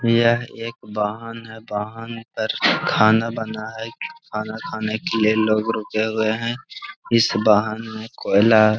यह एक वाहन है। वाहन पर खाना बना है। खाना खाने के लिए लोग रुके हुए हैं। इस वाहन मे कोयला --